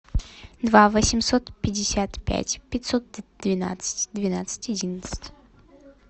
два восемьсот пятьдесят пять пятьсот двенадцать двенадцать одиннадцать